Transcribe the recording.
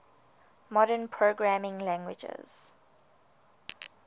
modern programming languages